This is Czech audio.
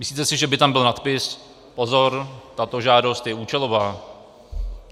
Myslíte si, že by tam byl nadpis "Pozor, tato žádost je účelová"?